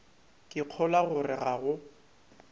ke kgolwa gore ga go